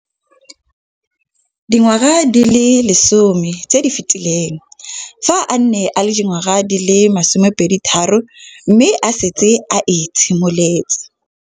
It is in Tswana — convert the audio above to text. Dingwaga di le 10 tse di fetileng, fa a ne a le dingwaga di le 23 mme a setse a itshimoletse.